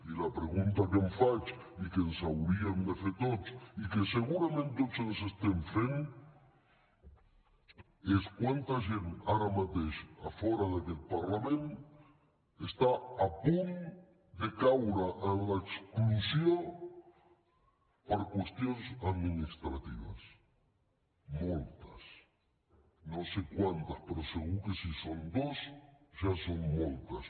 i la pregunta que em faig i que ens hauríem de fer tots i que segurament tots ens estem fent és quanta gent ara mateix fora d’aquest parlament està a punt de caure en l’exclusió per qüestions administratives moltes no sé quantes però segur que si són dues ja són moltes